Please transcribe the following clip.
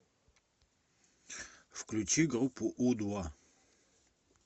включи группу у два